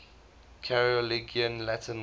carolingian latin writers